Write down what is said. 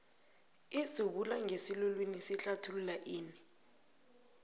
idzubulangesiluwini sihlathulula ini